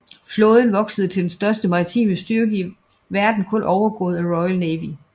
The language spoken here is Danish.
Flåden voksede til den største maritime styrke i verden kun overgået af Royal Navy